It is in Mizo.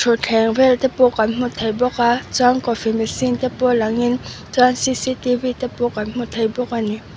thutthleng vel te pawh kan hmu thei bawk a chuan coffee machine te pawh lang in chuan cctv te pawh kan hmu thei bawk a ni.